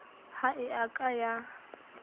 ha e a ka ya